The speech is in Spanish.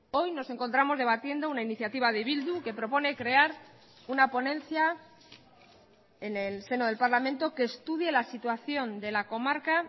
hoy nos encontramos debatiendo una iniciativa de bildu que propone crear una ponencia en el seno del parlamento que estudie la situación de la comarca